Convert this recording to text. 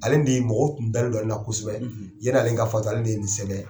Ale de ye mɔgɔ tun dalen don ale la kosɛbɛ, ,yanni ale ka fatu ale de ye nin sɛbɛn.